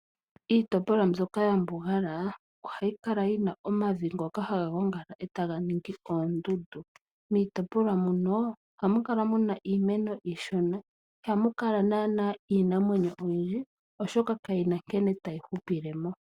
Iitopolwa mbyoka ya mbugala ohayi kala yina omavi ngoka haga gongala e taga ningi oondundu. Miitopolwa muno ohamu kala muna iimeno iishona, ihamu kala naana iinamwenyo oyindji. Oshoka ka yina nkene tayi hupile mo.